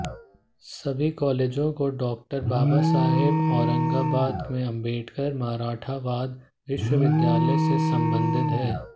सभी कॉलेजों को डॉ॰ बाबासाहेब औरंगाबाद में अम्बेडकर मराठवाड़ा विश्वविद्यालय से संबद्ध हैं